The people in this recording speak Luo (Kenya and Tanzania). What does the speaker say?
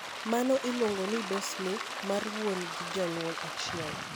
Mano iluongo ni disomy mar wuon gi jonyuol achiel.